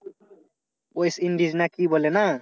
west indies না কি বলে না?